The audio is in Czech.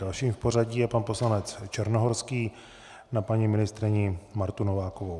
Dalším v pořadí je pan poslanec Černohorský na paní ministryni Martu Novákovou.